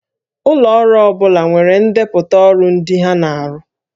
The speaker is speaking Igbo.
Ụlọ ọrụ ọ bụla nwere ndepụta ọrụ ndị ha na-arụ